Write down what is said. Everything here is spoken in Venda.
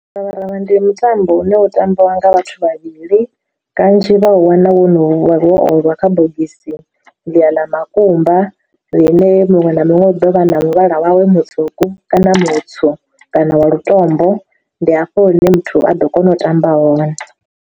Miravharavha ndi mutambo une wa tambiwa nga vhathu vhavhili, kanzhi vha u wana wo no wo oliwa kha bogisi ḽi ya ḽa makumba ḽine muṅwe na muṅwe u ḓo vha na muvhala wawe mutswuku kana mutswu kana wa lutombo, ndi hafho hune muthu a ḓo kona u tamba hone.